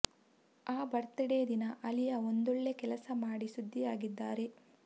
ಆ birthday ದಿನ ಅಲಿಯಾ ಒಂದೊಳ್ಳೆ ಕೆಲಸ ಮಾಡಿ ಸುದ್ದಿಯಾಗಿದ್ದಾರೆ